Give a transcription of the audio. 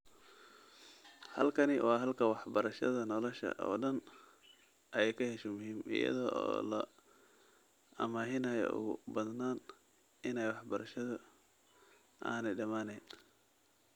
Halkani waa halka waxbarashada nolosha oo dhan ay ka hesho muhiim, iyada oo la amaahinaayo ugu badnaan in waxbarashadu aanay dhammaanayn.